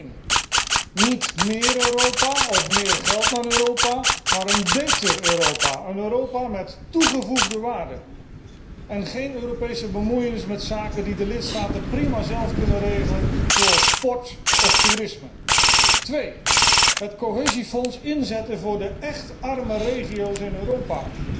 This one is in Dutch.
Ten eerste, niet méér Europa of meer geld naar Europa, maar een béter Europa, een Europa met toegevoegde waarde, en geen Europese bemoeienis met zaken die de lidstaten prima zelf kunnen regelen zoals sport of toerisme. Ten tweede, het Cohesiefonds inzetten voor de écht arme regio's in Europa.